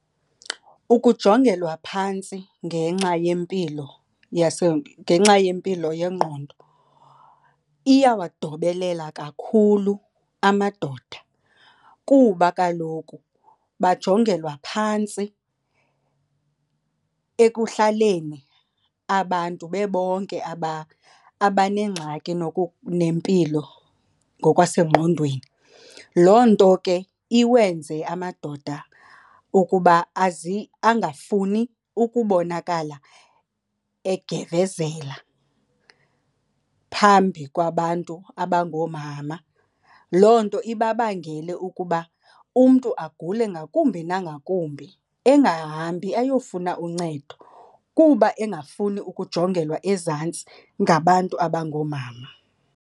Ukujongelwa phantsi ngenxa yempilo ngenxa yempilo yengqondo iyawadobelela kakhulu amadoda kuba kaloku bajongelwa phantsi ekuhlaleni abantu bebonke abanengxaki nempilo ngokwasengqondweni. Loo nto ke iwenze amadoda ukuba angafuni ukubonakala egevezela phambi kwabantu abangoomama. Loo nto ibabangele ukuba umntu agule ngakumbi nangakumbi, engahambi ayofuna uncedo kuba engafuni ukujongelwa ezantsi ngabantu abangoomama.